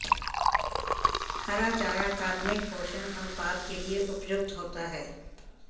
हरा चारा कार्बनिक पोषण अनुपात के लिये उपयुक्त होता है